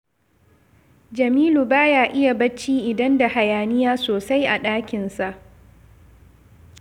Jamilu ba ya iya barci idan da hayaniya sosai a ɗakinsa